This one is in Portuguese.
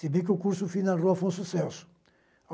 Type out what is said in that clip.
Se bem que o curso fiz na Rua Afonso Celso.